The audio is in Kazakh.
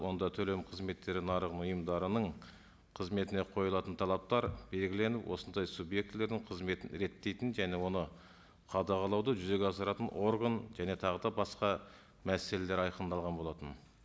онда төлем қызметтері ұйымдарының қызметіне қойылатын талаптар белгіленіп осындай субъектілердің қызметін реттейтін және оны қадағалауды жүзеге асыратын орган және тағы да басқа мәселелер айқындалған болатын